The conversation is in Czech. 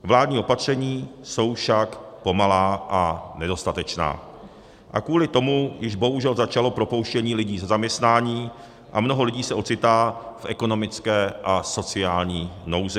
Vládní opatření jsou však pomalá a nedostatečná a kvůli tomu již bohužel začalo propouštění lidí ze zaměstnání a mnoho lidí se ocitá v ekonomické a sociální nouzi.